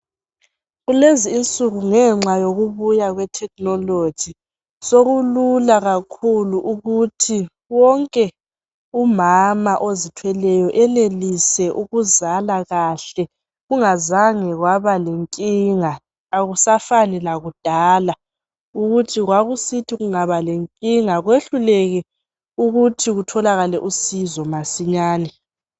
Kulezi insuku ngenxa yokubuya kwe thekhinoloji, sekulula kakhulu ukuthi wonke umama ozithweleyo enelise ukuzala kahle, kungazange kwaba lenkinga, akusafani lakudala, ukuthi kwakusithi kungaba lenkinga kwehluleke ukuthi kutholakale usizo masinyane.